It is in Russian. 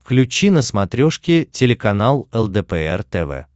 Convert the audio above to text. включи на смотрешке телеканал лдпр тв